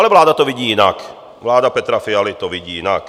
Ale vláda to vidí jinak, vláda Petra Fialy to vidí jinak.